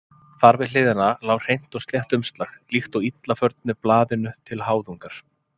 Þar við hliðina lá hreint og slétt umslag, líkt og illa förnu blaðinu til háðungar.